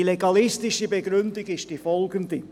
Die legalistische Begründung lautet folgendermassen: